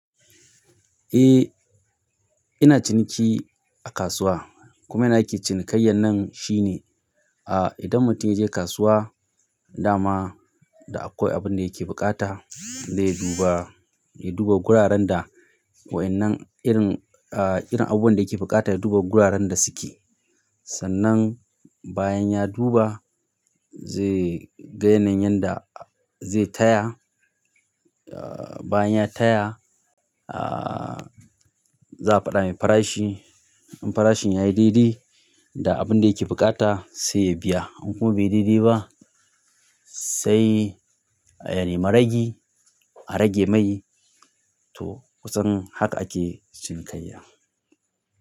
Eh, ina ciniki a kasuwa kuma nace cinikayyan nan shine, ah idan mutum ya je kasuwa, dama da akwai abun da yake buƙata zai duba, ya duba guraren da waɗannan irin, ah irin abubuwan da yake buƙata ya duba guraren da suke. Sannan bayan ya duba zai gane wanda zai taya. Ah bayan ya taya, ah za a faɗa mai farashi. In farashin yayi daidai da abun da yake buƙata sai ya biya. Idan kuma bai yi daidai ba, sai ya nemi ragi a rage mai to, kusan haka ake cinikayya.